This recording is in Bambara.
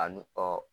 Ani